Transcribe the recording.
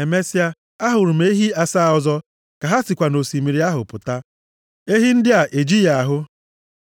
Emesịa, a hụrụ m ehi asaa ọzọ ka ha sikwa nʼosimiri ahụ pụta. Ehi ndị a ejighị ahụ.